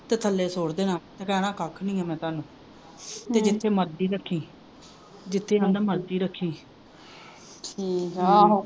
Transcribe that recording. ਤੇ ਥੱਲੇ ਸੁੱਟ ਦੇਣਾ ਤੇ ਕਹਿਣਾ ਕੱਖ ਨਹੀਂਓ ਮੈਂ ਤੁਹਾਨੂੰ ਤੇ ਜਿੱਥੇ ਮਰਜੀ ਰੱਖੀ ਜਿੱਥੇ ਆਂਦਾ ਮਰਜੀ ਰੱਖੀ